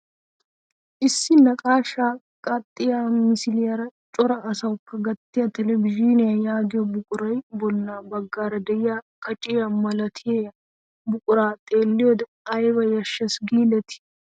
Issi naqashshaa qaaxxiyaa misiliyaara cora asaakko gattiyaa televizhiniyaa yaagiyoo buqurayoo bolla baggaara de'iyaa kaciyaa milatiyaa buquray xeelliyoode ayba yashshees gidetii!